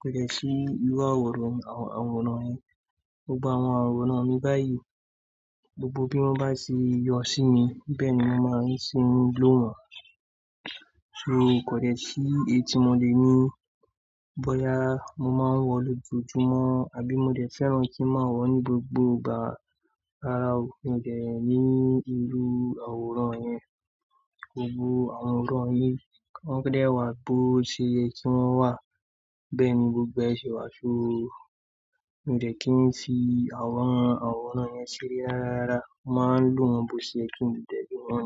pẹ̀lú sí irú àwòrán, àwòrán yẹn. Gbogbo àwòrán mi báyìí, gbogbo bí wọ́n bá ṣe yọ sí mi bẹ́ẹ̀ ni mo màá ṣe ń lò wọ́n. So kò dẹ̀ sí èyí tí mo le ní bóyá mo máa wọ̀ lójoojúmọ́ àbí mo dẹ̀ fẹ́ràn kí ń máa wọ̀ ní gbogbo ìgbà. Rárá, mi ò dẹ̀ ní irú àwòrán yẹn. Gbogbo àwòrán yẹn, kí wọ́n dẹ́ wà bó ṣe yẹ kí wọ́n wà, bẹ́ẹ̀ ni gbogbo ẹ́ ṣe wà. So mi ò dẹ̀ kí ń ti àwọn àwòrán yẹn sílẹ̀. Rárá, màá ń lò wọ́n bó ṣe yẹ kí mo dẹ̀ lo wọ́n.